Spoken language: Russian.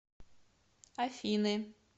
афины